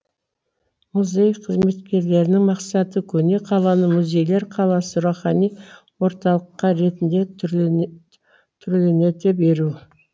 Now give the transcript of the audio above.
музей қызметкерлерінің мақсаты көне қаланы музейлер қаласы рухани орталыққа ретінде түрленете беру